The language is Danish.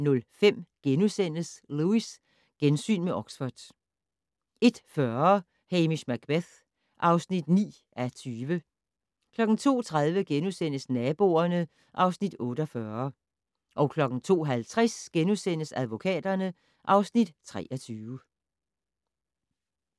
00:05: Lewis: Gensyn med Oxford * 01:40: Hamish Macbeth (9:20) 02:30: Naboerne (Afs. 48)* 02:50: Advokaterne (Afs. 23)*